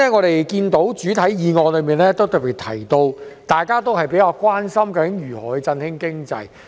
首先，原議案特別提到大家較為關心的如何振興經濟。